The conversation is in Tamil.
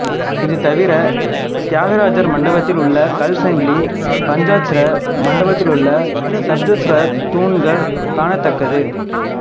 இதுதவிர தியாகராஜர் மண்டபத்தில் உள்ள கல்சங்கிலி பஞ்சாட்சர மண்டபத்திலுள்ள சப்தஸ்வர தூண்கள் காணத்தக்கது